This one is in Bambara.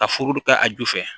Ka foro ta a ju fɛ